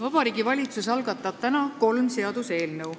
Vabariigi Valitsus algatab täna kolm seaduseelnõu.